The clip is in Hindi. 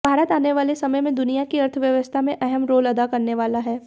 भारत आने वाले समय में दुनिया की अर्थव्यवस्था में अहम रोल अदा करने वाला है